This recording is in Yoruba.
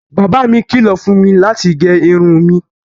Baba mi kìlọ̀ fún mi láti gé irun mi